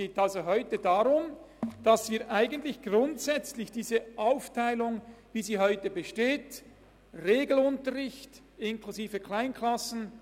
Grundsätzlich möchten wir an der Aufteilung, wie sie heute besteht – Regelunterricht inklusive Kleinklassen gemäss Artikel 17 VSG einerseits, Sonderschulunterricht andererseits – nichts ändern.